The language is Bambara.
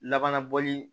Laban na bɔli